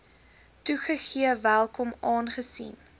toegegee welkom aangesien